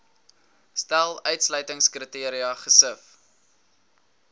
stel uitsluitingskriteria gesif